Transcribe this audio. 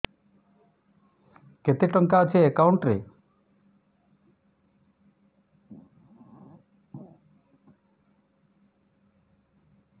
କେତେ ଟଙ୍କା ଅଛି ଏକାଉଣ୍ଟ୍ ରେ